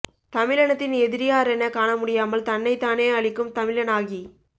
தமிழினத்தின் எதிரி யாரென காணமுடியாமல் தன்னைத்தானே அழிக்கும் தமிழனாகி